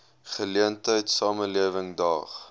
geleentheid samelewing daag